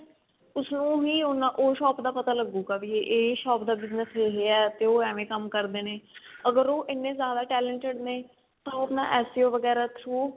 ਉਹਨੂੰ ਹੀ ਉਹ shop ਦਾ ਪਤਾ ਲੱਗੂਗਾ ਵੀ ਇਹ shop ਦਾ business ਇਹ ਹੈ ਤੇ ਉਹ ਏਵੇਂ ਕੰਮ ਕਰਦੇ ਨੇ ਅਗਰ ਉਹ ਇੰਨੇ ਜ਼ਿਆਦਾ talented ਨੇ ਤਾਂ ਉਹ ਆਪਣਾ SCO ਵਗੇਰਾ through